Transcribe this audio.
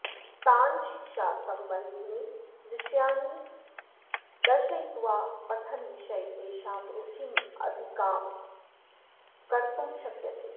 तान् शिक्षासबन्धीनि दृश्यानि दर्शयित्वा पठनविषये तेषां रुचिमधिकां कर्तुं शक्यते